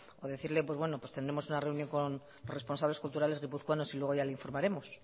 o decirle pues bueno tendremos una reunión con los responsables culturales guipuzcoanos y luego ya le informaremos